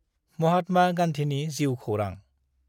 माहात्मा गान्धिनि जिउ खौरां।